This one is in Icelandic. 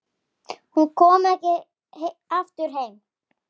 Enginn komst af.